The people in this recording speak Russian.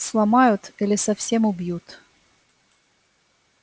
сломают или совсем убьют